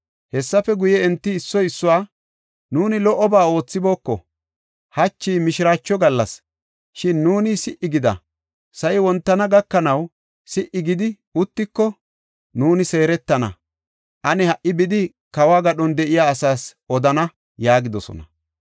Hessafe guye, enti issoy issuwa, “Nuuni lo77oba oothibooko. Hachi mishiraacho gallas; shin nuuni si77i gida. Sa7i wontana gakanaw, si77i gidi uttiko, nuuni seeretana. Ane, ha77i bidi, kawo gadhon de7iya asaas odana” yaagidosona.